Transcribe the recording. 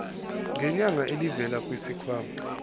ngenyanga elivela kwisikhwama